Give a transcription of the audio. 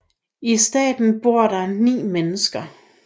I starten bor der ni mennesker